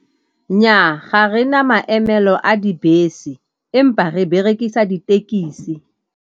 Nnyaa, ga re na maemelo a dibese empa re berekisa ditekisi.